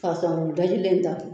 Fasa ni dajilen datugu